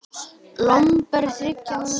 Hvorugt er lengur stutt.